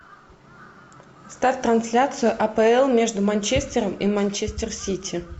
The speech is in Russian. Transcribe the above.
ставь трансляцию апл между манчестером и манчестер сити